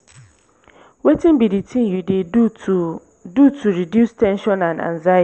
wetin be di thing you do to do to reduce ten sion and anxiety?